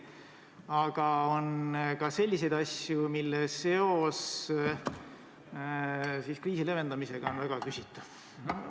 Aga on ka selliseid asju, mille seos kriisi leevendamisega on väga küsitav.